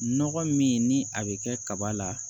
Nɔgɔ min ni a bɛ kɛ kaba la